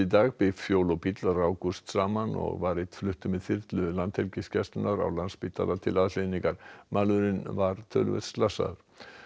dag bifhjól og bíll rákust saman og var einn fluttur með þyrlu Landhelgisgæslunnar á Landspítala til aðhlynningar maðurinn var töluvert slasaður